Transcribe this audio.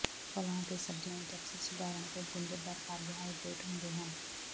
ਫਲਾਂ ਅਤੇ ਸਬਜ਼ੀਆਂ ਵਿੱਚ ਅਕਸਰ ਸਧਾਰਣ ਅਤੇ ਗੁੰਝਲਦਾਰ ਕਾਰਬੋਹਾਈਡਰੇਟ ਹੁੰਦੇ ਹਨ